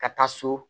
Ka taa so